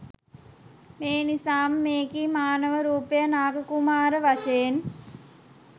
මේනිසාම මෙකී මානව රූපය නාග කුමාරයා වශයෙන්